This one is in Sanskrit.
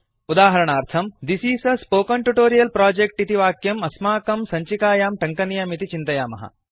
उदाहरणार्थम् this is a spoken tutorial project इति वाक्यम् अस्माकं सञ्चिकायां टङ्कनीयमिति चिन्तयामः